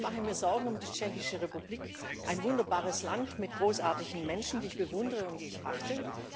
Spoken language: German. Ich mache mir Sorgen um die Tschechische Republik, ein wunderbares Land mit großartigen Menschen, die ich bewundere und die ich achte.